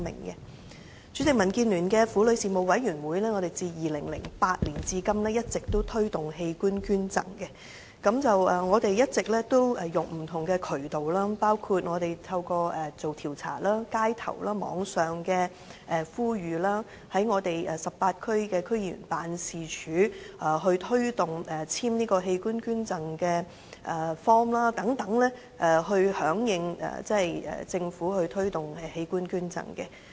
代理主席，民建聯的婦女事務委員會，自2008年至今一直推動器官捐贈，我們一直透過不同渠道，包括進行街頭調查及網上呼籲，在我們18區區議員辦事處推動簽署器官捐贈卡等，藉此響應政府推動的器官捐贈。